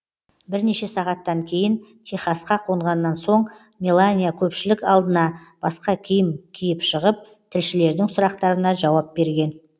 бірнеше сағаттан кейін техасқа қонғаннан соң мелания көпшілік алдына басқа киім киіп шығып тілшілердің сұрақтарына жауап берген